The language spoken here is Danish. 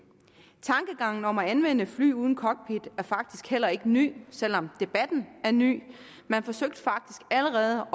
tankegangen om at anvende fly uden cockpit er faktisk heller ikke ny selv om debatten er ny man forsøgte faktisk allerede